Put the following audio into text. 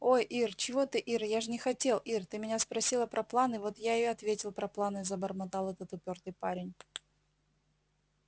ой ир чего ты ир я же не хотел ир ты меня спросила про планы вот я и ответил про планы забормотал этот упёртый парень